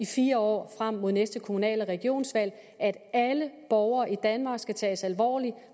fire år frem mod næste kommunal og regionsvalg nemlig at alle borgere i danmark skal tages alvorligt